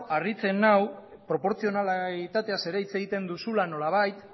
harritzen nau proportzionalitateaz ere hitz egiten duzula nolabait